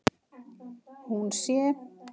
Hún sé